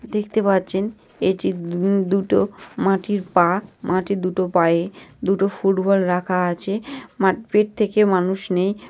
দেখতে পাচ্ছেন এটি বু দুটো মাটির পা। মাটির দুটো পায়ে দুটো ফুটবল রাখা আছে। মার পেট থেকে মানুষ নেই।